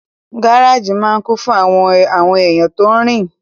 Gáràjì máa n kún fún àwọn èèyàn tó rin